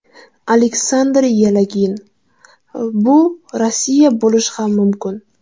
Aleksandr Yelagin: Bu Rossiya bo‘lishi ham mumkin!